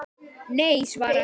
Nei svaraði hann, hún talar